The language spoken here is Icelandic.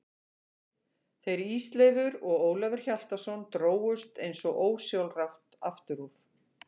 Þeir Ísleifur og Ólafur Hjaltason drógust eins og ósjálfrátt aftur úr.